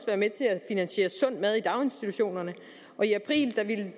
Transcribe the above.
være med til at finansiere sund mad i daginstitutionerne og i april ville